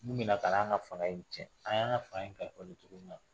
Mun bi na ka na an ka fanga in tiɲɛ, an y'an ka fanga in kalifa don cogo min na